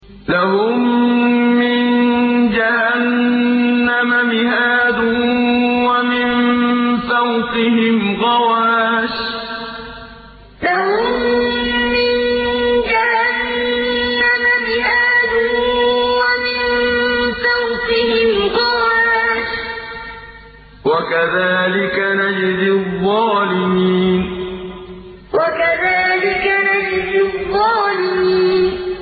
لَهُم مِّن جَهَنَّمَ مِهَادٌ وَمِن فَوْقِهِمْ غَوَاشٍ ۚ وَكَذَٰلِكَ نَجْزِي الظَّالِمِينَ لَهُم مِّن جَهَنَّمَ مِهَادٌ وَمِن فَوْقِهِمْ غَوَاشٍ ۚ وَكَذَٰلِكَ نَجْزِي الظَّالِمِينَ